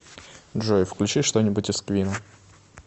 джой включи что нибудь из квинна